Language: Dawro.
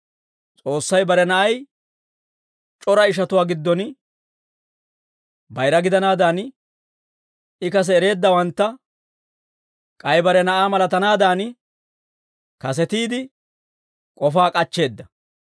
S'oossay bare Na'ay c'ora ishatuwaa giddon bayira gidanaadan, I kase ereeddawantta k'ay bare Na'aa malatanaadan, kasetiide k'ofaa k'achcheedda.